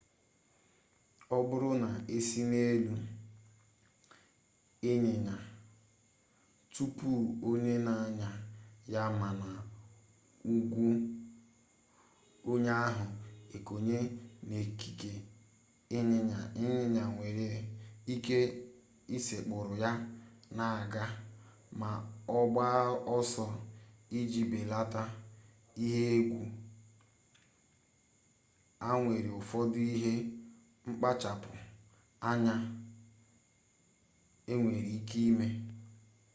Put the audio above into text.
ọ bụrụ na esị n'elu ịnyịnya tụpụ onye na-anya ya mana ụkwụ onye ahụ ekonye n'ekike ịnyịnya ịnyịnya nwere ike ịsekpụrụ ya na-aga ma ọ gbaa ọsọ iji belata ihe egwu a enwere ụfọdụ ihe mkpachapụ anya enwere ike ime